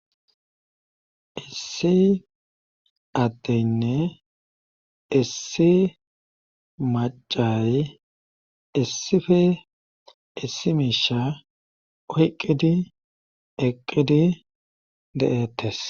Issi addeynne issi maccay issife issi miisha oyqqidi eqqidi de7ettes.